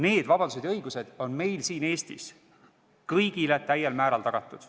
Need vabadused ja õigused on meil siin Eestis kõigile täiel määral tagatud.